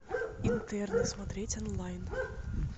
интерны смотреть онлайн